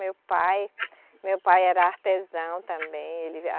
Meu pai, meu pai era artesão também, ele a